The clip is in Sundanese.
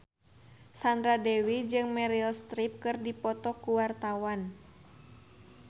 Sandra Dewi jeung Meryl Streep keur dipoto ku wartawan